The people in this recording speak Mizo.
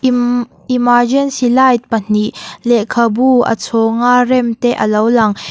emergency light pahnih lehkhabu a chhawng a rem te alo lang.